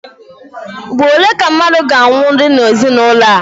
Ugboro ole ka mmadụ ga-anwụdi n'ezinụlọ a?